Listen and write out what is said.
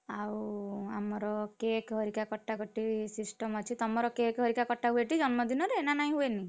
ଆଉ ଆମର cake ହରିକା କଟାକଟି system ଅଛି। ତମର cake ହରିକା କଟା ହୁଏ ଟି ଜନ୍ମ ଦିନରେ ନା ନାଇଁ ହୁଏନି?